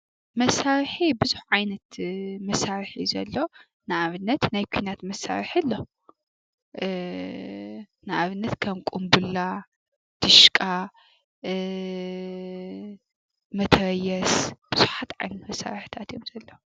መሳሪሒ ብዙሕ ዓይነት መሳሪሒ እዩ ዘሎ ። ንኣብነት ናይ ኩናት መሳርሒ ኣሎ ፤ንኣብነት ከም ቁምቡላ ፣ድሽቃ፣ መትረየስ ብዙሓት ዓይነት መሳሪሒታት እዮም ዘለው።